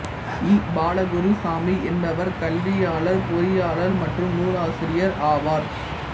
ஈ பாலகுருசாமி என்பவர் கல்வியாளர் பொறியாளர் மற்றும் நூலாசிரியர் ஆவார்